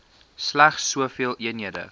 slegs soveel eenhede